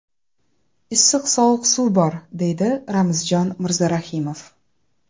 Issiq-sovuq suv bor” deydi Ramzjon Mirzarahimov.